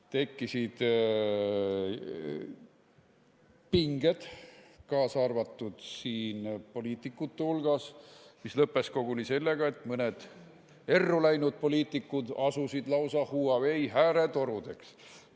Tekkisid pinged, kaasa arvatud poliitikute hulgas, mis lõppesid koguni sellega, et mõned erru läinud poliitikud asusid lausa Huawei hääletorudeks.